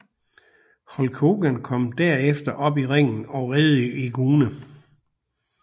Hulk Hogan kom herefter op i ringen og reddede Eugene